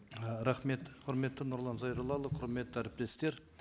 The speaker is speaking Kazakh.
і рахмет құрметті нұрлан зайроллаұлы құрметті әріптестер